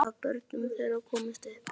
Af börnum þeirra komust upp